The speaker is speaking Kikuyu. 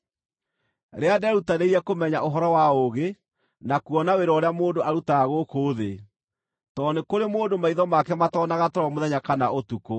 Rĩrĩa ndeerutanĩirie kũmenya ũhoro wa ũũgĩ na kuona wĩra ũrĩa mũndũ arutaga gũkũ thĩ, tondũ nĩ kũrĩ mũndũ maitho make matoonaga toro mũthenya kana ũtukũ,